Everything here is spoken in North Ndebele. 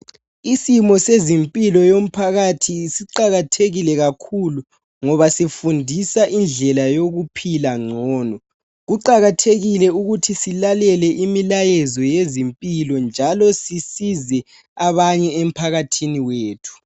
Isimo sezimpilo yomphakathi siqakathekile kakhulu ngoba sifundisa indlela yokuphila ngcono. Kuqakathekile ukuthi silalele imilayezo yezimpilo njalo sisize abanye emphakathini wethu.